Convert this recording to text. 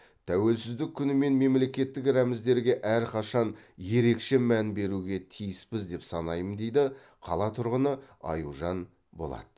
тәуелсіздік күні мен мемлекеттік рәміздерге әрқашан ерекше мән беруге тиіспіз деп санаймын дейді қала тұрғыны аюжан болат